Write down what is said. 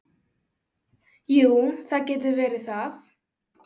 Jú, það getur verið það.